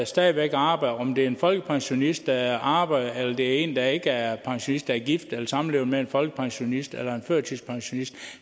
stadig væk arbejder om det er en folkepensionist der arbejder eller det er en der ikke er pensionist som er gift eller samlevende med en folkepensionist eller en førtidspensionist